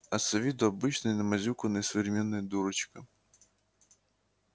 а с виду обычная намазюканная современная дурочка